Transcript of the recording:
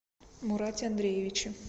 мурате андреевиче